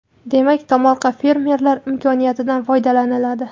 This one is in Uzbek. Demak, tomorqa va fermerlar imkoniyatidan foydalaniladi.